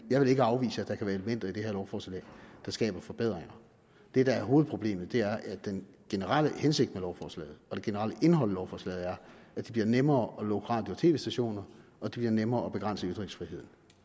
vil afvise at der kan være elementer i det her lovforslag der skaber forbedringer det der er hovedproblemet er at den generelle hensigt med lovforslaget og det generelle indhold i lovforslaget er at det bliver nemmere at lukke radio og tv stationer og det bliver nemmere at begrænse ytringsfriheden